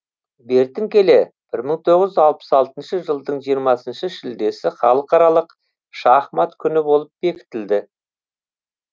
бертін келе бір мың тоғыз жүз алпыс алтыншы жылдың жиырмасыншы шілдесі халықаралық шахмат күні болып бекітілді